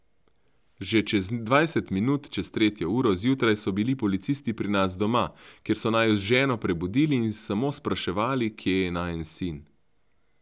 Že čez dvajset minut čez tretjo uro zjutraj so bili policisti pri nas doma, kjer so naju z ženo prebudili in samo spraševali, kje je najin sin.